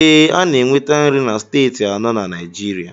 Ee, a na-enweta nri na Steeti anọ na Naijiria.